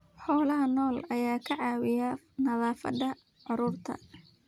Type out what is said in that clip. Xoolaha nool ayaa ka caawiya nafaqada carruurta.